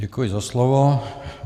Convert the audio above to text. Děkuji za slovo.